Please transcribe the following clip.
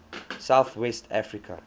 south west africa